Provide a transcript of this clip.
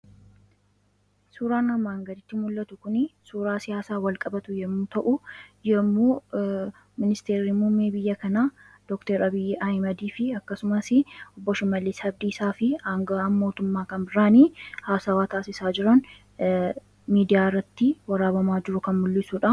Suuraan armaan gaditti mul'atu kuni suuraa siyaasaan walqabatu yemmuu ta'u, yemmuu ministeerri muummee biyya kanaa dooktor Abiy Ahmediifi obbo Shimallis Abdiisaafi angawaan mootumma kan biraan haasawaa taasisan miidiyaa irratti waraabamaa jiru kan mul'isudha.